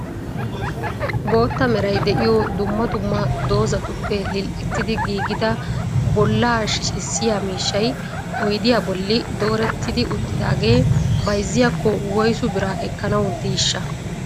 bootta meray de'iyo dumma dumma doozatuppe lil''ettidi giiggida bolla shiccissiya miishshay oyddiyaa bolli doorettidi uttidaagee bayzziyaakko woyssu biraa ekkanaw diishsha?